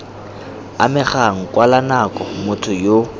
amegang kwala nako motho yo